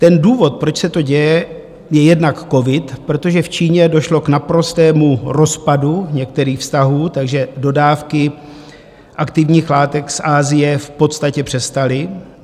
Ten důvod, proč se to děje, je jednak covid, protože v Číně došlo k naprostému rozpadu některých vztahů, takže dodávky aktivních látek z Asie v podstatě přestaly.